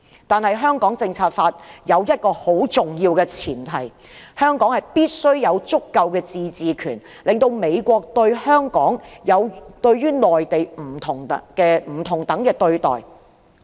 但是，《香港政策法》有一個很重要的前提，就是香港必須有足夠的自治權，令美國給予香港與內地不同等的待遇。